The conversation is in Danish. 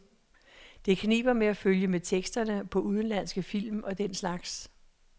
Det kniber med at følge med teksterne på udenlandske film og den slags.